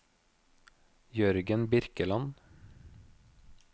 Jørgen Birkeland